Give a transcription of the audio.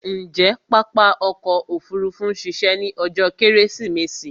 Ǹjé pápá ọkò òfurufú ma a ṣiṣẹ́ ní ọjó kẹ́rẹ́sìmẹsì?